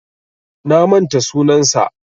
Na manta sunansa.